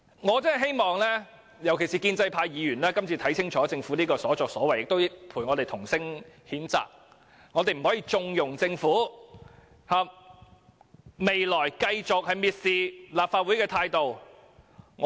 我希望議員，特別是建制派議員會看清楚這次政府的所作所為，並與我們同聲譴責，我們是不可以縱容政府這種蔑視立法會的態度的。